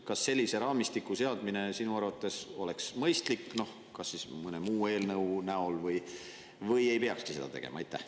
Kas sellise raamistiku seadmine sinu arvates oleks mõistlik, kas või mõne muu eelnõu abil, või ei peaks seda üldse tegema?